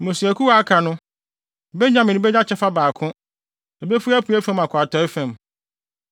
“Mmusuakuw a aka no, “Benyamin benya kyɛfa baako; ebefi apuei fam akɔ atɔe fam.